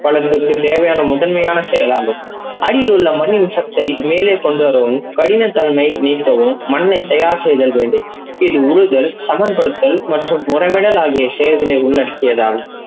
பல சொட்டு தேவையான முதன்மையான செயல்களாகும். அடியில் உள்ள மண்ணின் சத்தை மேலே கொண்டுவரவும் படிமை தன்மை நீக்கவும் தயார் செய்தல் வேண்டும். இது உழுதல் சமன்ப்படுத்தல் மற்றும் உரவிடல் ஆகிய செயல்களை உள்ளடைக்கியதாகும்.